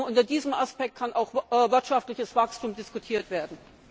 Nur unter diesem Aspekt kann auch wirtschaftliches Wachstum diskutiert werden.